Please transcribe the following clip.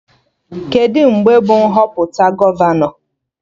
Kedụ mgbe bụ Nhọpụta gọvanọ?